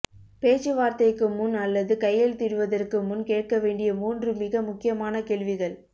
பேச்சுவார்த்தைக்கு முன் அல்லது கையெழுத்திடுவதற்கு முன் கேட்க வேண்டிய மூன்று மிக முக்கியமான கேள்விகள்